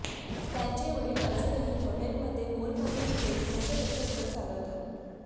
त्यांचे वडील अजूनही हॉटेलमध्ये मोलमजुरी करून कसंबसं घर चालवतात